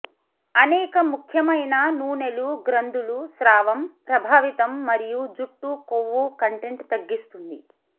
అనేక ముఖ్యమైన నూనెలు గ్రంథులు స్రావం ప్రభావితం మరియు జుట్టు కొవ్వు కంటెంట్ తగ్గిస్తుంది